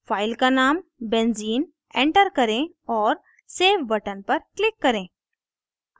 file का name benzene enter करें और सेव button पर click करें